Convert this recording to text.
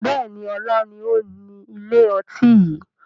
Bẹ́ẹ̀ni, ọlá ni ó ni ilé ọtí yìí